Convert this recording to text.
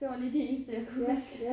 Det var lige de eneste jeg kunne huske